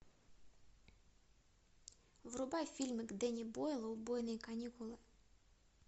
врубай фильмик дэнни бойла убойные каникулы